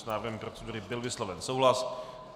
S návrhem procedury byl vysloven souhlas.